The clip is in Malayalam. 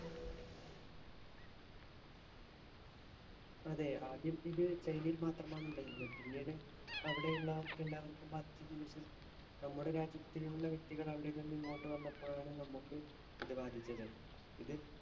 അതെ, ആദ്യം ഇത് ചൈനയിൽ മാത്രമാണ് ഉണ്ടായിരുന്നത്. പിന്നീട് അവിടെയുള്ളവർക്ക് എല്ലാവർക്കും ബാധിച്ചതിനു ശേഷം നമ്മുടെ രാജ്യത്തുള്ള വ്യക്തികൾ അവിടെ നിന്നും ഇങ്ങോട്ട് വന്നപ്പോഴാണ് നമുക്ക് ഇത് ബാധിച്ചത്. ഇത്